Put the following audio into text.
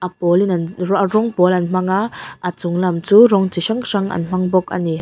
a pawl in an rawng pawl an hmang a a chunglam chu rawng chi hrang hrang an hmang bawk ani.